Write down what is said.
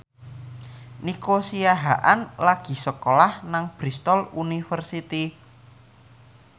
Nico Siahaan lagi sekolah nang Bristol university